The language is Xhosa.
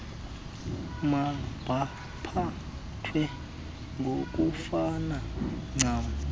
mabaphathwe ngokufana ncam